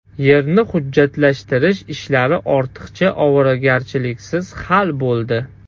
Yerni hujjatlashtirish ishlari ortiqcha ovoragarchiliksiz hal bo‘ldi.